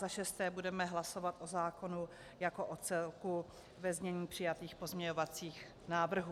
Za šesté budeme hlasovat o zákonu jako o celku ve znění přijatých pozměňovacích návrhů.